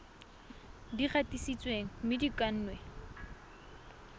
di gatisitsweng mme di kannwe